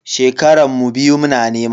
Shekaran mu biyu muna nema.